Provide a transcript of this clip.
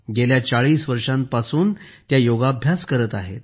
गेल्या 40 वर्षांपासून त्या योग्याभ्यास करत आहेत